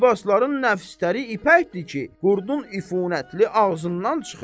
Libasların nəfsdəri ipəkdir ki, qurdun ifunətli ağzından çıxır.